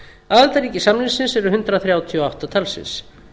aðildarríki samningsins eru hundrað þrjátíu og átta talsins